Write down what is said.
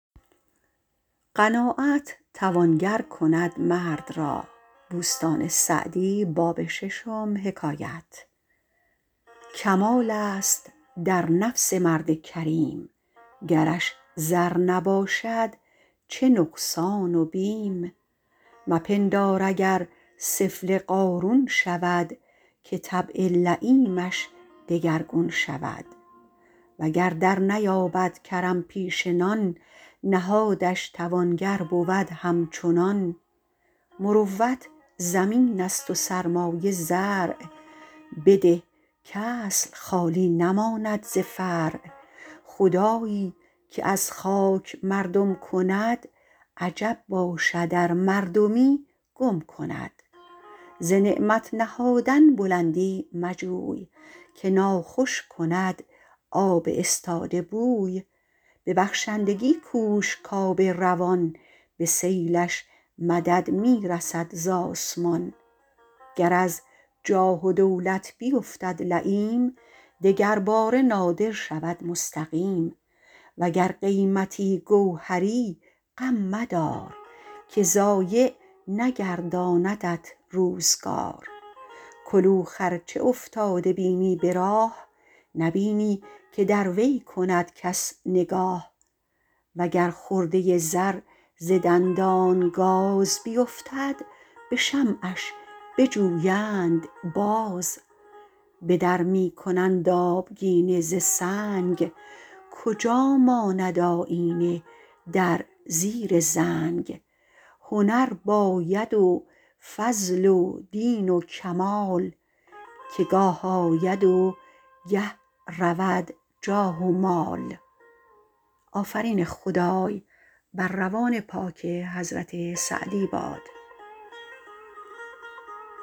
کمال است در نفس مرد کریم گرش زر نباشد چه نقصان و بیم مپندار اگر سفله قارون شود که طبع لییمش دگرگون شود وگر درنیابد کرم پیشه نان نهادش توانگر بود همچنان مروت زمین است و سرمایه زرع بده کاصل خالی نماند ز فرع خدایی که از خاک مردم کند عجب باشد ار مردمی گم کند ز نعمت نهادن بلندی مجوی که ناخوش کند آب استاده بوی به بخشندگی کوش کآب روان به سیلش مدد می رسد ز آسمان گر از جاه و دولت بیفتد لییم دگر باره نادر شود مستقیم وگر قیمتی گوهری غم مدار که ضایع نگرداندت روزگار کلوخ ار چه افتاده بینی به راه نبینی که در وی کند کس نگاه و گر خرده زر ز دندان گاز بیفتد به شمعش بجویند باز به در می کنند آبگینه ز سنگ کجا ماند آیینه در زیر زنگ هنر باید و فضل و دین و کمال که گاه آید و گه رود جاه و مال